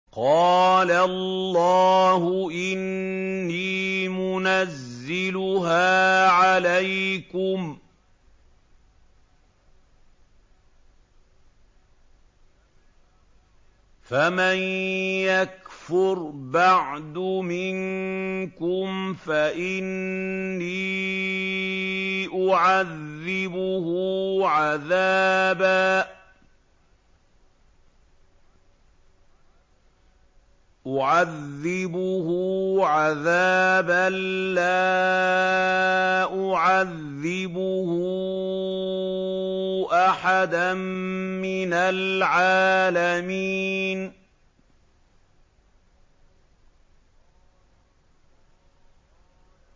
قَالَ اللَّهُ إِنِّي مُنَزِّلُهَا عَلَيْكُمْ ۖ فَمَن يَكْفُرْ بَعْدُ مِنكُمْ فَإِنِّي أُعَذِّبُهُ عَذَابًا لَّا أُعَذِّبُهُ أَحَدًا مِّنَ الْعَالَمِينَ